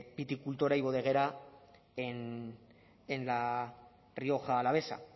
viticultura y bodeguera en la rioja alavesa